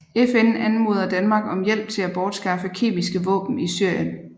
FN anmoder Danmark om hjælp til at bortskaffe kemiske våben i Syrien